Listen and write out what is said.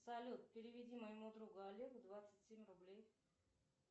салют переведи моему другу олегу двадцать семь рублей